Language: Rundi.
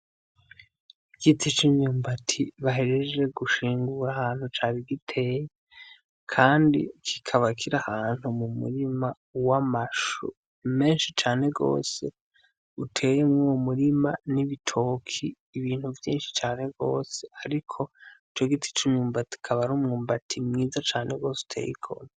Igiti c'imyumbati bahejeje gushingura ahantu cari giteye kandi kikaba kiri ahantu mu murima w'amashu meshi cane gose uteye mwuwo murima n'ibitoki ibintu vyishi cane gose ariko ico giti c'umwumbati akaba ari umwumbati mwiza cane gose uteye igomwe.